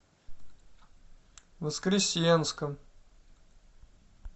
воскресенском